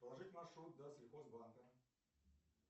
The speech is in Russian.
проложить маршрут до сельхозбанка